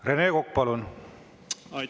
Rene Kokk, palun!